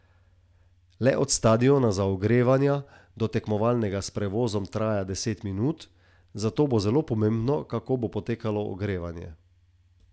Le od stadiona za ogrevanja do tekmovalnega s prevozom traja deset minut, zato bo zelo pomembno, kako bo potekalo ogrevanje.